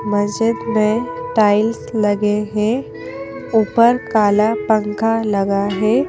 मस्जिद में टाइल्स लगे हैं ऊपर काला पंखा लगा है।